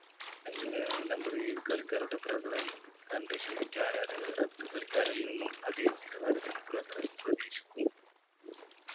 ആഹ് number ഏഴ് കളിക്കാരുടെ പ്രകടനം കണ്ടു ശീലിച്ച ആരാധകർ അടുത്ത കളിക്കാരിൽ നിന്നും അതെ നിലവാരത്തിൽ പ്രകടനം പ്രതീക്ഷിക്കും